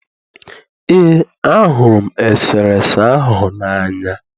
ee, ahụrụ m eserese ahụ n'anya